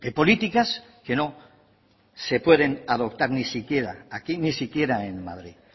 políticas que no se pueden adoptar ni siquiera aquí ni siquiera en madrid